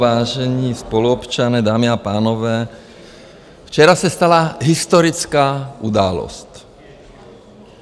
Vážení spoluobčané, dámy a pánové, včera se stala historická událost.